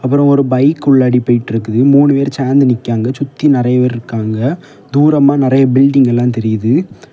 அப்புறம் ஒரு பைக் உள்ளாடி போயிட்ருக்குது மூணு பேர் சாந்து நிக்கிறாங்க சுத்தி நறைய பேர் இருக்காங்க தூரமா நறைய பில்டிங் எல்லா தெரியுது.